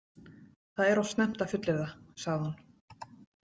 Það er of snemmt að fullyrða, sagði hún.